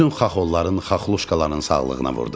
Bütün xaxolların, xaxoluşkaların sağlığına vurdum.